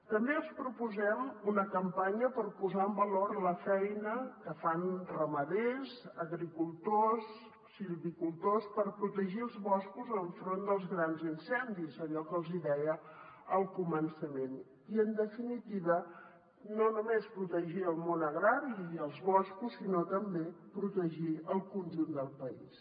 també els proposem una campanya per posar en valor la feina que fan ramaders agricultors silvicultors per protegir els boscos enfront dels grans incendis allò que els hi deia al començament i en definitiva no només protegir el món agrari i els boscos sinó també protegir el conjunt del país